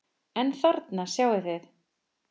En þarna sjáið þið!